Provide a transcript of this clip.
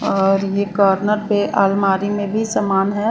और ये कॉर्नर पे अलमारी में भी सामान है।